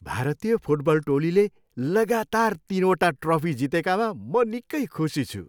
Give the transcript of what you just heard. भारतीय फुटबल टोलीले लगातार तिनवटा ट्रफी जितेकामा म निकै खुसी छु।